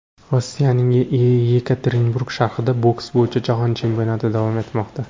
Rossiyaning Yekaterinburg shahrida boks bo‘yicha Jahon chempionati davom etmoqda.